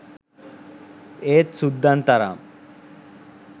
ඒත් සුද්දන් තරම්